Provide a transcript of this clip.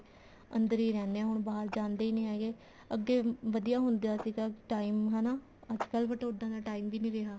ਅੰਦਰ ਹੀ ਰਹਿੰਦੇ ਆ ਹੁਣ ਬਾਹਰ ਜਾਂਦੇ ਹੀ ਨੀ ਹੈਗੇ ਅੱਗੇ ਵਧੀਆ ਹੁੰਦਾ ਸੀਗਾ time ਹਨਾ ਅੱਜਕਲ but ਉੱਦਾਂ ਦਾ time ਵੀ ਨੀ ਰਿਹਾ